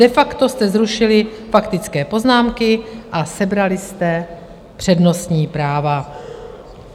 De facto jste zrušili faktické poznámky a sebrali jste přednostní práva.